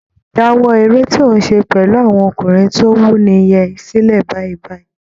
Dáwọ́ eré tó ń ṣe pẹ̀lú àwọn ọkùnrin tó wuni yẹn sílẹ̀ báyìí báyìí